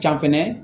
Ca fɛnɛ